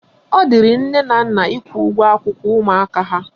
Ọ dịrị nne na nna ịkwụ ụgwọ akwụkwọ ụmụaka ha